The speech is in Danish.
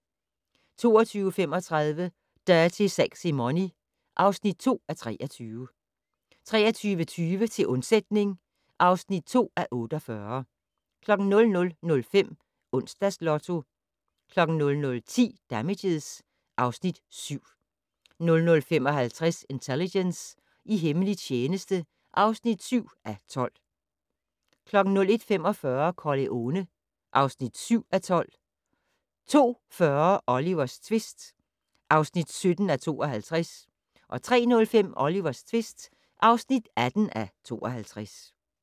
22:35: Dirty Sexy Money (2:23) 23:20: Til undsætning (2:48) 00:05: Onsdags Lotto 00:10: Damages (Afs. 7) 00:55: Intelligence - i hemmelig tjeneste (7:12) 01:45: Corleone (7:12) 02:40: Olivers tvist (17:52) 03:05: Olivers tvist (18:52)